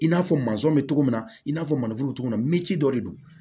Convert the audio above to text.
I n'a fɔ bɛ cogo min na i n'a fɔ bɛ cogo min na min ci dɔ de don